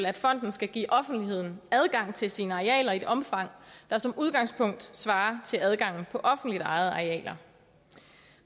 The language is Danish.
at fonden skal give offentligheden adgang til sine arealer i et omfang der som udgangspunkt svarer til adgangen for offentligt ejede arealer